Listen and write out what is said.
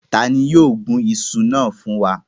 Ta ni yóò gun iṣu na fun wa?